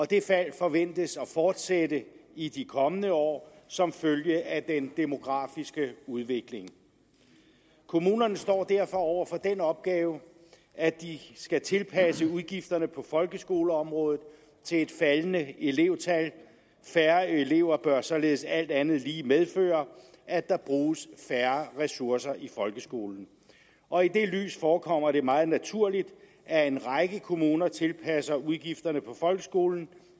det fald forventes at fortsætte i de kommende år som følge af den demografiske udvikling kommunerne står derfor over for den opgave at de skal tilpasse udgifterne på folkeskoleområdet til et faldende elevtal færre elever bør således alt andet lige medføre at der bruges færre ressourcer i folkeskolen og i det lys forekommer det meget naturligt at en række kommuner tilpasser udgifterne på folkeskolen